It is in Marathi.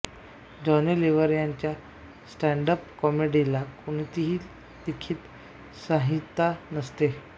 जॉनी लिव्हर यांच्या स्टॅण्ड अप कॉमेडीला कोणतीही लिखित संहिता नसते